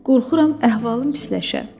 Qorxuram əhvalım pisləşə.